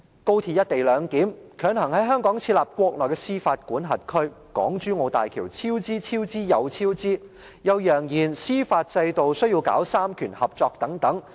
高鐵"一地兩檢"，強行在香港設立國內的司法管轄區，港珠澳大橋超支、超支，又超支，又揚言司法制度需要搞三權合作等。